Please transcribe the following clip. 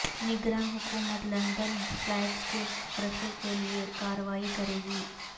نگراں حکومت London flats کی قرقی کیلئے کارروائی کرےگی